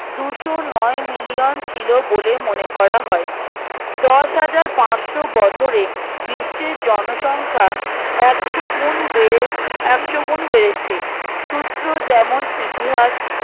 দুশো নয় মিলিয়ন ছিল বলে মনে করা হয় দশ হাজার পার্সো বছরে বিশ্বের জনসংখ্যা একশো গুন বেড়ে একশো গুন বেড়েছে সূত্র যেমন ইতিহাস